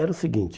Era o seguinte...